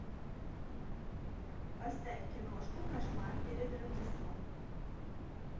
поставь киношку кошмар перед рождеством